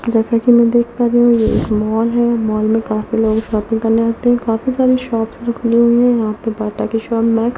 जैसा कि मैं देख पा रही हूं ये एक मॉल है मॉल में काफी लोग शॉपिंग करने आते हैं काफी सारी शॉप्स खूली हुई है यहां पे बाटा की शॉप मैक्स --